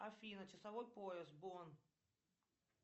афина часовой пояс бонн